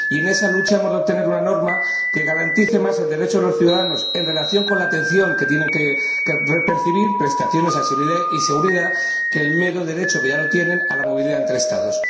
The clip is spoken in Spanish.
En esa lucha, hemos de obtener una norma que garantice más el derecho de los ciudadanos en relación con la atención que tienen que percibir —prestaciones y seguridad— que el mero derecho, que ya lo tienen, a la movilidad entre Estados.